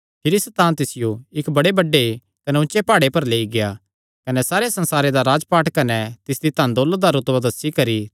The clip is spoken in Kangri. भिरी सैतान तिसियो इक्क बड़े बड्डे कने ऊचे प्हाड़े पर लेई गेआ कने सारे संसारे दा राजपाठ कने तिसदी धन दौलत दा रुतबा दस्सी करी